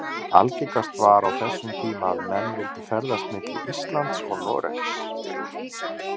Algengast var á þessum tíma að menn vildu ferðast milli Íslands og Noregs.